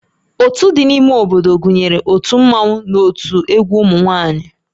Ótú dị n'ime obodo gụnyere ótù Mmanwu na ótú egwu ụmụ nwaanyị